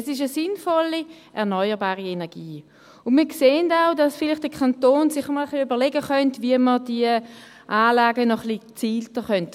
Es ist eine sinnvolle erneuerbare Energie, und wir sehen auch, dass sich der Kanton vielleicht einmal ein wenig überlegen könnte, wie man die Anlagen noch ein wenig gezielter fördern könnte.